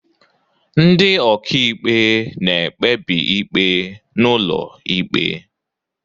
Ndị ọka ikpe na-ekpebi ikpe n'ụlọ ịkpe.